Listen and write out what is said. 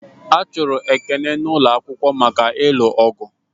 A chụrụ Ekene n'ụlọ akwụkwọ maka ịlụ ọgụ